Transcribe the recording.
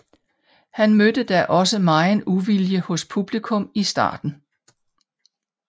Han mødte da også megen uvilje hos publikum i starten